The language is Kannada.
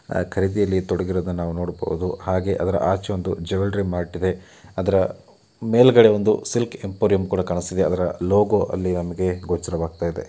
ಖರೀದಿಯಲ್ಲಿ ತೊಡಗಿರೋದನ್ನ ನಾವು ನೋಡಬಹುದು ಹಾಗೆ ಅದರ ಆಚೆ ಒಂದು ಜೆವೆಲ್ಲರಿ ಮಾರ್ಟ್ ಇದೆ ಅದರ ಮೇಲಾಗದೆ ಒಂದು ಸಿಲ್ಕ್ ಎಂಪೋರಿಯಂ ಕೂಡ ಕಾಣಸ್ತಾಯಿದೆ ಅದರ ಲೋಗೋ ಅಲ್ಲಿ ನಮಗೆ ಗೋಚರವಾಗ್ತಾಯಿದೆ